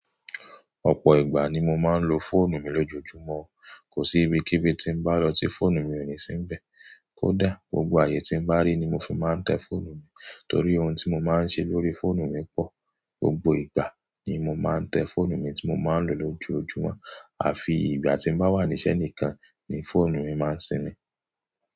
Ọ̀pọ̀ ìgbà ni mo máa ń lo fóònù mi lójoojúmọ́. Kò sí ibi kí ibi tí n bá lọ tí fóònù mi ò ní sínbẹ̀, kódà gbogbo ààyè tí n bá rí ni mo fi máa ń tẹ fóònù mi. Torí ohun tí mo máa ń ṣe lórí fóònù mi pọ̀. Gbogbo ìgbà ni mo máa ń tẹ fóònù mi tí mo máa ń lò lójoojúmọ́, àfi ìgbà tí n bá wà níṣẹ́ nìkan ni fóònù mi máa ń sinmi.